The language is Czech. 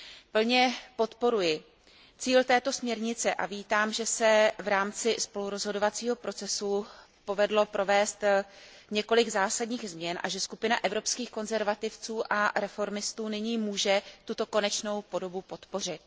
Plně podporuji cíl této směrnice a vítám, že se v rámci spolurozhodovacího procesu povedlo provést několik zásadních změn a že skupina Evropských konzervativců a reformistů nyní může tuto konečnou podobu podpořit.